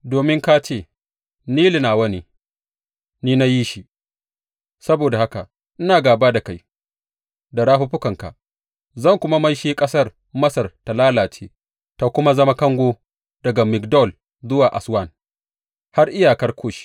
Domin ka ce, Nilu nawa ne; ni na yi shi, saboda haka ina gāba da kai da rafuffukanka, zan kuma maishe ƙasar Masar ta lalace ta kuma zama kango daga Migdol zuwa Aswan, har iyakar Kush.